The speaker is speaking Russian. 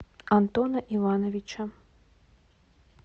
антона ивановича